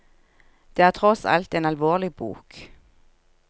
Det er tross alt en alvorlig bok.